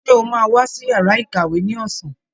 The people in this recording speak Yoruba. Ṣe o máa wá sí yàrá ìkàwé ní ọsán?